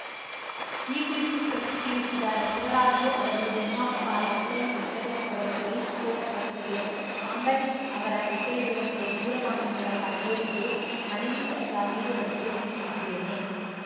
ಈ ಕುರಿತು ಪ್ರತಿಕ್ರಿಯಿಸಿದ ಶಿವರಾಜು ಅವರು ನಿರ್ಮಾಪಕ ರಾಕ್‌ಲೈನ್‌ ವೆಂಕಟೇಶ್‌ ಅವರು ರೈಸ್‌ಕೋರ್ಸ್‌ ರಸ್ತೆಗೆ ಅಂಬರೀಷ್‌ ಅವರ ಹೆಸರಿಡುವಂತೆ ದೂರವಾಣಿ ಮೂಲಕ ಕೋರಿದ್ದು ಮನವಿ ಪತ್ರ ನೀಡುವಂತೆ ತಿಳಿಸಿದ್ದೇನೆ